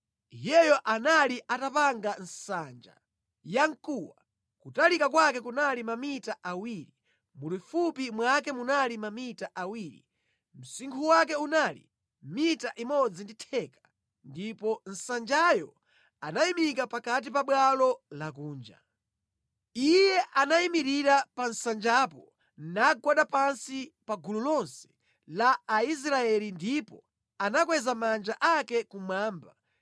Iyeyo anali atapanga nsanja yamkuwa, kutalika kwake kunali mamita awiri, mulifupi mwake munali mamita awiri, msinkhu wake unali mita imodzi ndi theka ndipo nsanjayo anayimika pakati pa bwalo lakunja. Iye anayimirira pa nsanjapo nagwada pamaso pa gulu lonse la Aisraeli ndipo anakweza manja ake kumwamba.